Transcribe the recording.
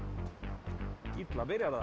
illa byrjar það